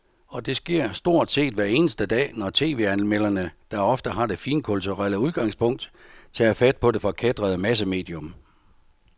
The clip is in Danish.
Og det sker stort set hver eneste dag, når tv-anmelderne, der ofte har det finkulturelle udgangspunkt, tager fat på det forkætrede massemedium.